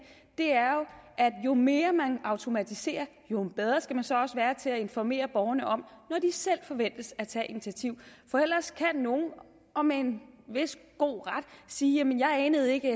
at jo mere man automatiserer jo bedre skal man så også være til at informere borgerne om når de selv forventes at tage initiativ for ellers kan nogle og med en vis god ret sige jamen jeg anede ikke